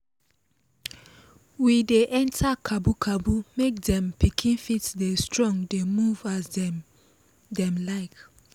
we dey enter cabu cabu make dem pikin fit dey strong dey move as dem dem like